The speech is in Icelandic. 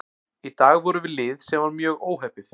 Í dag vorum við lið sem var mjög óheppið.